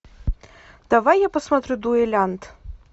давай я посмотрю дуэлянт